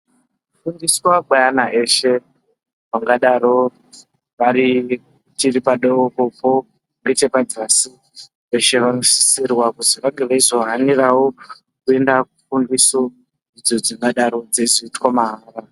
Kufundiswa kweana eshe angadaro tiri padokopo nechepadzasi veshe vanosisirwa kuti vange veizo haniravo, kuenda kufundiso idzo dzingadaro dzeizoitwa mahara.